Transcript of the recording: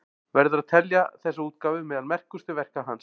Verður að telja þessa útgáfu meðal merkustu verka hans.